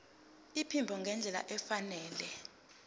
iphimbo ngendlela efanele